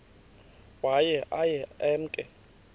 waye aye emke